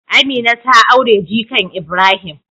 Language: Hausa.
Amina ta aure jikan Ibrahim.